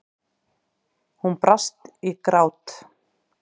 Hún brast í grát.